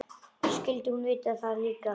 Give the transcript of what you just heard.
Skyldi hún vita það líka?